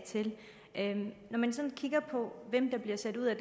til at man bliver sat ud af